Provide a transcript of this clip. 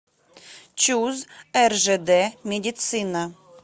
чуз ржд медицина